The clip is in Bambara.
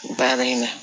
Baara in na